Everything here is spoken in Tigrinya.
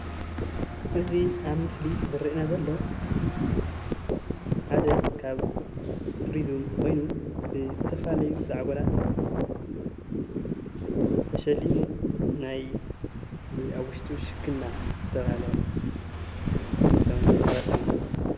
እቲ ኣብ ምስሊ ዝረአነና ዘሎ ሓደ ካብ ቱራዝም ኾይኑ ዝተፈላለዩ ዛዔጎላት ተሸሊሙ ኣብ ውሽጡ ሽክና ዝተብሃለ ከም ዝተቀረፀ እኒሀ።